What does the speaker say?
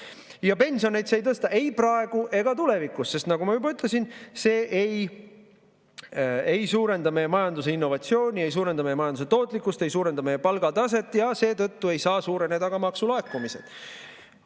Ja pensione see ei tõsta ei praegu ega tulevikus, sest nagu ma juba ütlesin, see ei suurenda meie majanduse innovatsiooni, ei suurenda meie majanduse tootlikkust, ei suurenda meie palgataset ja seetõttu ei saa suureneda ka maksulaekumised.